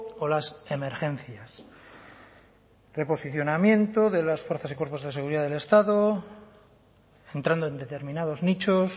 o las emergencias reposicionamiento de las fuerzas y cuerpos de seguridad del estado entrando en determinados nichos